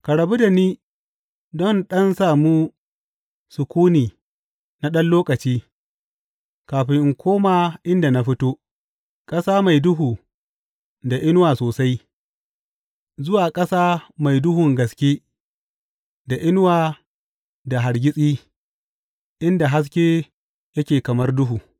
Ka rabu da ni don in ɗan samu sukuni na ɗan lokaci kafin in koma inda na fito, ƙasa mai duhu da inuwa sosai, zuwa ƙasa mai duhun gaske, da inuwa da hargitsi, inda haske yake kamar duhu.